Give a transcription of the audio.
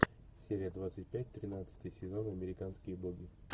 серия двадцать пять тринадцатый сезон американские боги